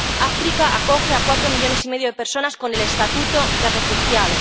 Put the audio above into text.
África acoge a cuatro millones y medio de personas con el estatuto de refugiado.